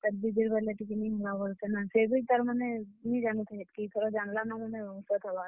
ସେ ବି ତାର୍ ମାନେ ନି ଯାନୁଥାଇ ହେତ୍ କି ଇ ଥର ଯାନ୍ ଲା ନ ବେଲେ ଡାକ୍ ବା ନ।